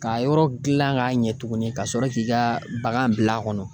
K'a yɔrɔ gilan k'a ɲɛ tuguni ka sɔrɔ k'i ka bagan bila a kɔnɔ.